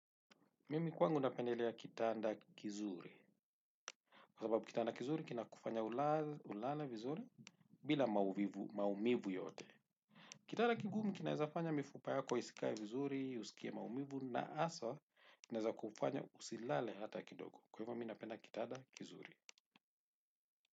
Mimi kwangu napendelea kitanda kizuri kwa sababu kitanda kizuri, kina kufanya ulale vizuri bila maumivu yote. Kitanda kigumu, kinaeza fanya mifupa yako isikae vizuri, usikie maumivu, na haswa, kinaeza kufanya usilale hata kidogo. Kwa hivyo, mi napenda kitanda kizuri.